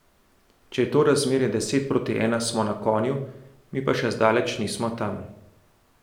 Če je to razmerje deset proti ena, smo na konju, mi pa še zdaleč nismo tam.